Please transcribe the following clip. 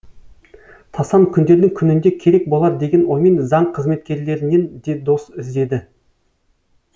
тасан күндердің күнінде керек болар деген оймен заң қызметкерлерінен де дос іздеді